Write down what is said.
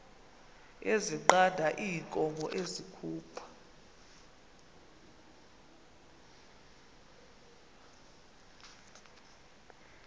ezinqanda iinkomo ezikhupha